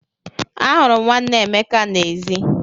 Ahụrụ m nwanne Emeka n'èzí.